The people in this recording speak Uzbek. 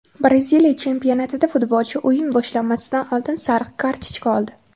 Braziliya chempionatida futbolchi o‘yin boshlanmasidan oldin sariq kartochka oldi .